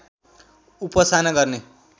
उपासना गर्ने